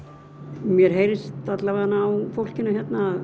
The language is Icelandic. mér heyrist alla vega á fólkinu hérna